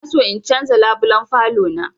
Ina son in canza labulen falo na